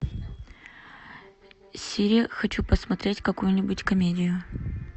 сири хочу посмотреть какую нибудь комедию